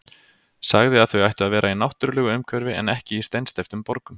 Sagði að þau ættu að vera í náttúrulegu umhverfi en ekki í steinsteyptum borgum.